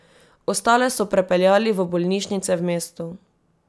Ostale so prepeljali v bolnišnice v mestu.